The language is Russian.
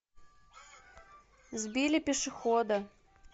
сбили пешехода